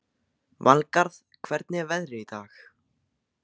Valgarð, hvernig er veðrið í dag?